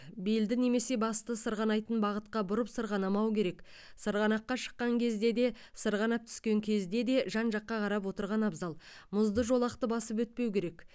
белді немесе басты сырғанайтын бағытқа бұрып сырғанамау керек сырғанаққа шыққан кезде де сырғанап түскен кезде де жан жаққа қарап отырған абзал мұзды жолақты басып өтпеу керек